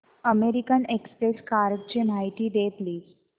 American Express कार्डची माहिती दे प्लीज